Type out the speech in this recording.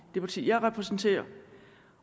det parti jeg repræsenterer